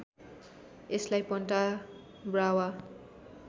यसलाई Punta Brava